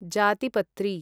जातिपत्री